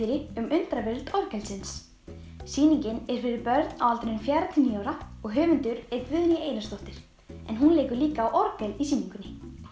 undraveröld orgelsins sýningin er fyrir börn á aldrinum fjögurra til níu ára og höfundur er Guðný Einarsdóttir hún leikur líka á orgel í sýningunni